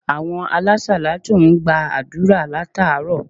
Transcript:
Àwon alásàlátù n gba àdúrà látàárò